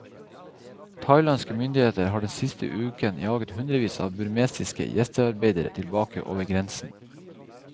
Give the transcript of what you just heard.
Thailandske myndigheter har den siste uken jaget hundrevis av burmesiske gjestearbeidere tilbake over grensen.